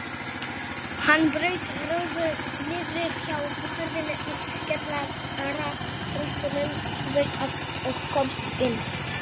Hann braut rúðu niðri hjá hurðinni í kjallaratröppunum þú veist og komst inn.